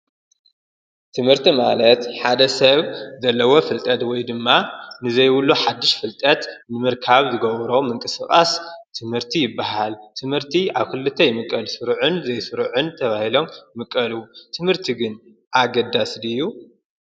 ትምህርቲ ማለት ሓደ ሰብ ዘለዎ ፍልጠት ወይ ድማ ንዘይብሉ ሓድሽ ፍልጠት ንምርካብ ዝገብሮ ምንቅስቓስ ትምህርቲ ይበሃል፡፡ ትምህርቲ ኣብ ክልተ ይምቀል፡፡ ስሩዕን ዘይስሩዕን ተብሂሎም ይምቀሉ፡፡ ትምህርቲ ግን ኣገዳሲ ድዩ?